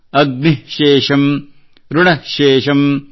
ಅಗ್ನಿಃ ಶೇಷಮ್ ಋಣಃ ಶೇಷಮ್